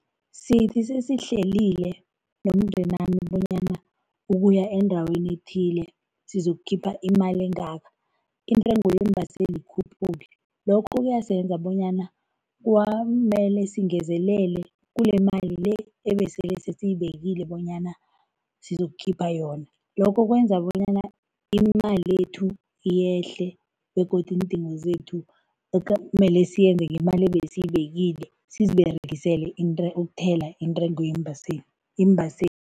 Sithi sesihlelile nomndenami bonyana ukuya endaweni ethile sizokukhipha imali engaka, intengo yeembaseli ikhuphuke. Lokho kuyasenza bonyana kwamele singezelele kulemali le ebesele sesiyibekile bonyana sizokukhipha yona, lokho kwenza bonyana imali yethu yehle begodu iindingo zethu mele siyenze ngemali ebesiyibekile, siziberegisele ukuthela intengo yeembaseli